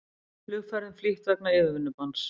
Flugferðum flýtt vegna yfirvinnubanns